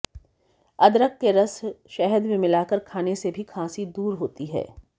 अदरक के रस शहद में मिलाकर खाने से भी खांसी दूर होती है